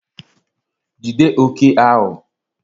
Jide òké ahụ!